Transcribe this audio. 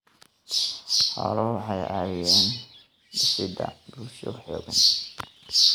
Xooluhu waxay ka caawiyaan dhisidda bulsho xooggan.